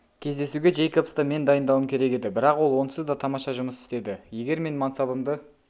кездесуге джейкобсты мен дайындауым керек еді бірақ ол онсызда тамаша жұмыс істеді егер мен мансабымды